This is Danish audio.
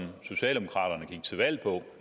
socialdemokraterne gik til valg på